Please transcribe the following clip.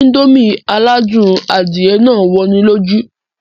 Indomie aládùn adìẹ náà wọ'ni lójú